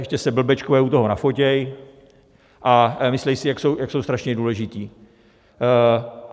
Ještě se blbečkové u toho nafotí a myslí si, jak jsou strašně důležití.